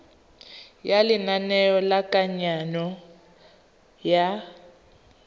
ya lenane la kananyo ya